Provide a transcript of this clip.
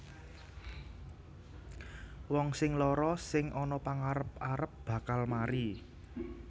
Wong sing lara sing ana pangarep arep bakal mari